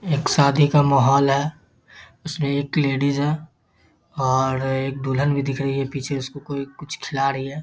एक शादी का माहौल है उसमें एक लेडीज है और एक दुल्हन भी दिख रही है पीछे उसको कुछ खिला रही है ।